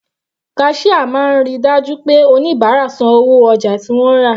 Cashier máa ríi dájú pé oníbárà san owó ojà tí wọ́n rà.